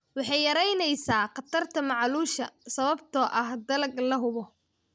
Waxay yaraynaysaa khatarta macaluusha sababtoo ah dalag la hubo.